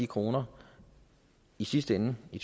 kroner i sidste ende i